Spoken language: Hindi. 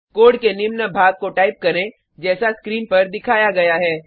कोड के निम्न भाग को टाइप करें जैसा स्क्रीन पर दिखाया गया है